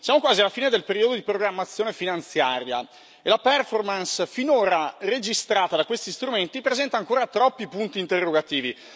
Siamo quasi alla fine del periodo di programmazione finanziaria e la performance finora registrata da questi strumenti presenta ancora troppi punti interrogativi.